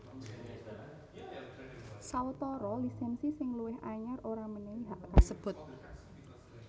Sawetara lisènsi sing luwih anyar ora mènèhi hak kasebut